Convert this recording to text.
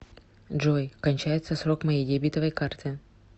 джой кончается срок моей дебетовой карты